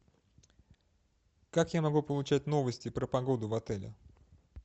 как я могу получать новости про погоду в отеле